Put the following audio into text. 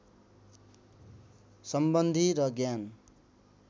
सम्बन्धि र ज्ञान